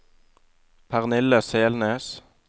Pernille Selnes